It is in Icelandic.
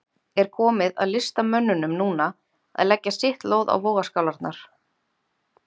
Er komið að listamönnunum núna að leggja sitt lóð á vogarskálarnar?